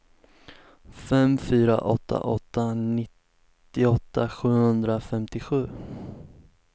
fem fyra åtta åtta nittioåtta sjuhundrafemtiosju